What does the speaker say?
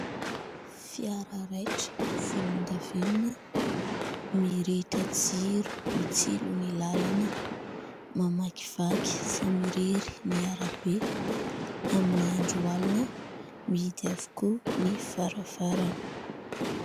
Fiara raitra volondavenona mirehitra jiro mitsilo ny lalana mamakivaky samirery ny arabe amin'ny andro alina, mihidy avokoa ny varavarana.